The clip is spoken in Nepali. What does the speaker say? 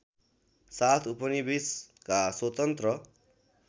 साथ उपनिवेशका स्वतन्त्र